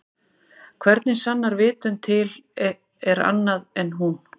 Hvernig sannar vitund að til er annað en hún?